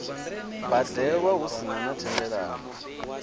badelwa hu sina na thendelano